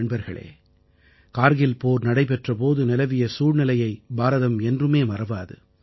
நண்பர்களே கார்கில் போர் நடைபெற்ற போது நிலவிய சூழ்நிலையை பாரதம் என்றுமே மறவாது